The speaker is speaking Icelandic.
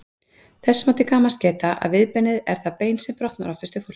Þess má til gamans geta að viðbeinið er það bein sem oftast brotnar hjá fólki.